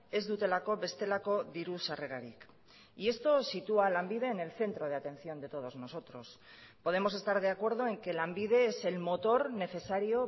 ez dutelako bestelako diru sarrerarik y esto sitúa a lanbide en el centro de atención de todos nosotros podemos estar de acuerdo en que lanbide es el motor necesario